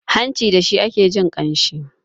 hanci da shi ake jin ƙanshi